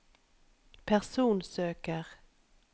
personsøker